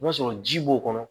N'o y'a sɔrɔ ji b'o kɔnɔ